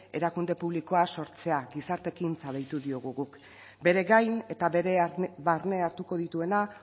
erakunde publikoa sortzea gizartekintza deitu diogu guk bere gain eta bere barne hartuko dituena